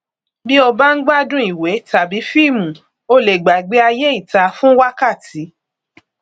bí o bá ń gbádùn ìwé tàbí fíìmù o lè gbàgbé ayé ìta fún wákàtí